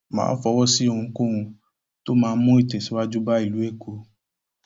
má a fọwọ sí ohunkóhun tó máa mú ìtẹsíwájú bá ìlú èkó